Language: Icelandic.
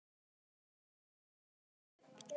Hefurðu nokkuð reynt að komast í sjónvarpið til að skemmta?